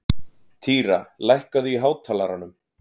Týra, lækkaðu í hátalaranum.